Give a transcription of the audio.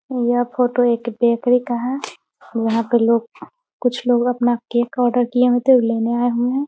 यह फोटो एक बेकरी का है यहाँ पे लोग कुछ लोग अपना केक का आर्डर किए तो लेने आए हुए है।